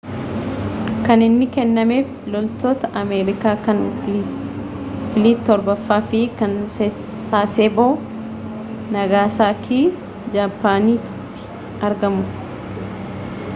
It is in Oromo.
kan inni kennameef loltoota ameerikaa kan filiit torbaffaa fi kan sasebo nagasakii japaaniiti argamu